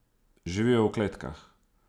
Živijo v kletkah.